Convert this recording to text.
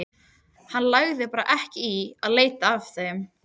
Hann lagði bara ekki í að leita að þeim.